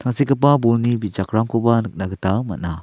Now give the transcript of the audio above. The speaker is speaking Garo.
bolni bijakrangkoba nikna gita man·a.